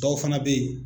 Dɔw fana bɛ yen